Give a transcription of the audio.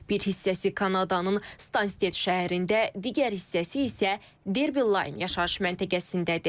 Bir hissəsi Kanadanın Stansted şəhərində, digər hissəsi isə Derby Line yaşayış məntəqəsindədir.